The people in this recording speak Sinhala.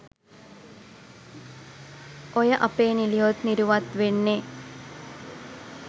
ඔය අපේ නිළියොත් නිරුවත් වෙන්නේ